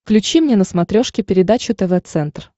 включи мне на смотрешке передачу тв центр